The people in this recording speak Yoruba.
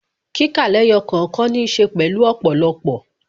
Kíkà lẹ́yọ̀ kọ̀ọ̀kan ní ṣe pẹ̀lú ọ̀pọ̀lọpọ̀